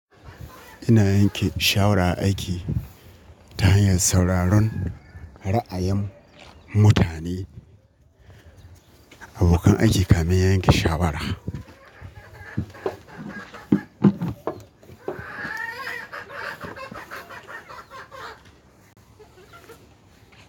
Ina yanke shawara a aiki ta hanyar sauraron ra'ayin mutane abokan aiki kafin yanke shawara.